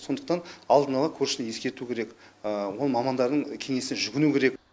сондықтан алдын ала көршіні ескерту керек ол мамандардың кеңесіне жүгіну керек